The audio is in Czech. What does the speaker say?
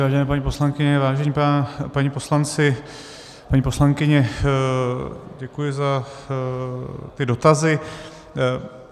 Vážené paní poslankyně, vážení páni poslanci, paní poslankyně, děkuji za ty dotazy.